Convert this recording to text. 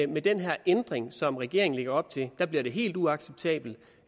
med den her ændring som regeringen lægger op til bliver det helt uacceptabelt